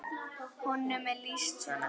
Honum er lýst svona